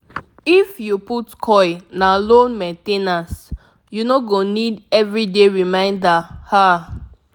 if you put coil na low main ten ance --u no go need everyday reminder ah